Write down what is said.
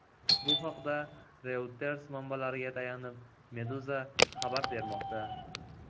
Bu haqda Reuters manbalariga tayanib, Meduza xabar bermoqda .